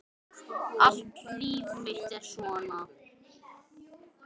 Allt líf mitt er svona!